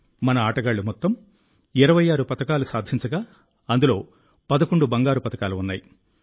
మన ఆటగాళ్లు మొత్తం 26 పతకాలు సాధించగా అందులో 11 బంగారు పతకాలు ఉన్నాయి